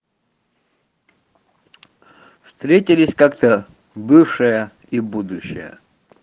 встретились как-то бывшая и будущая